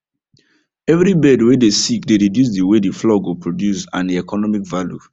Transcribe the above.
every bird way dey sick dey reduce the way the flock go produce and e economic value